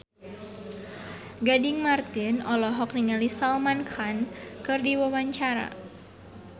Gading Marten olohok ningali Salman Khan keur diwawancara